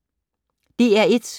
DR1